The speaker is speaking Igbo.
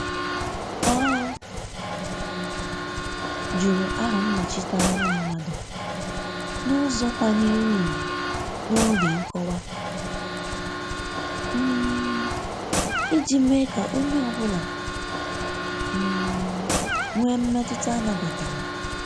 Ọ um jụrụ aha nnọchiteanya mmadụ n'ụzọ kwanyere ùgwù n'oge nkowa, um iji mee ka onye ọ bụla um nwee mmetụta a nabatara.